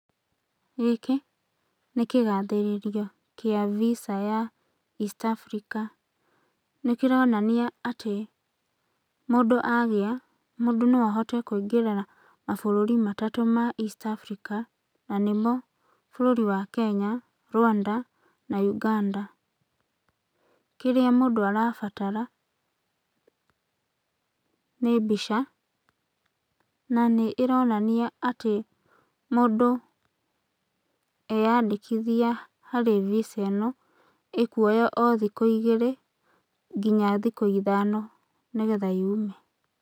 Gĩkĩ nĩ kĩgathĩrĩrio kĩa Visa ya East Africa. Nĩ kĩronania atĩ mũndũ agĩa, mũndũ no ahote kũingĩra mabũrũri matatũ ma East Africa na nĩmo bũrũri wa Kenya, Rwanda na Uganda. Kĩrĩa mũndũ arabatara , nĩ mbica na nĩ ĩronania atĩ mũndũ eandĩkithia harĩ Visa ta ĩno, ĩkuoya o thikũ igĩrĩ, nginya thikũ ithano nĩgetha yume.